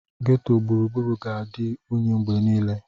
Ghetto gburugburu ga-adị unyi mgbe niile.